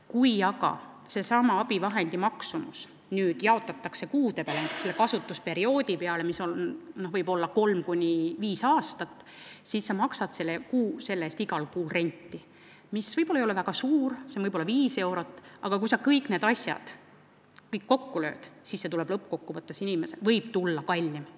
Kui aga sellesama abivahendi maksumus jaotatakse kuude peale, näiteks kasutusperioodi peale, mis võib olla 3–5 aastat, siis sa maksad selle eest igal kuul renti, mis ei ole väga suur, võib-olla 5 eurot, aga kui sa kõik need summad kokku lööd, siis lõppkokkuvõttes võib see tulla kallim.